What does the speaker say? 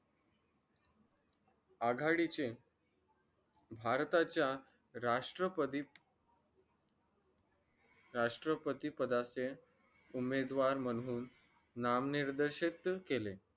आघाडीचे भारताच्या राष्ट्रपती राष्ट्रपतीपदाचे उमेदवार म्हणून नामनिर्देशित केले